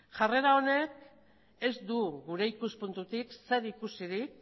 jarrera honek ez du gure ikuspuntutik zerikusirik